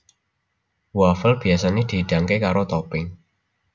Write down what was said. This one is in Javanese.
Wafel biyasané dihidangké karo topping